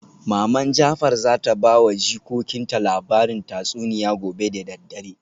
Maman jafar zata bawa jikokinta labarin tatsuniya gobe da daddare